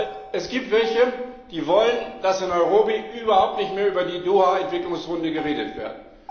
Denn es gibt welche, die wollen, dass in Nairobi überhaupt nicht mehr über die Doha Entwicklungsrunde geredet wird.